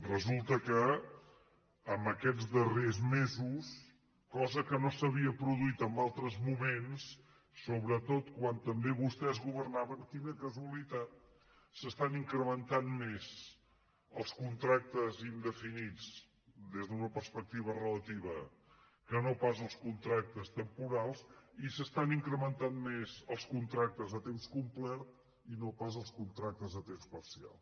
resulta que en aquests darrers mesos cosa que no s’havia produït en altres moments sobretot quan també vostès governaven quina casualitat s’estan incrementant més els contractes indefinits des d’una perspectiva relativa que no pas els contractes temporals i s’estan incrementant més els contractes a temps complert i no pas els contractes a temps parcial